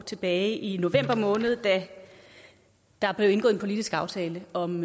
tilbage i november måned da der blev indgået en politisk aftale om